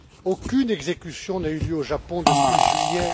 Aucune exécution n'a eu lieu au Japon depuis juillet